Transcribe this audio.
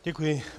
Děkuji.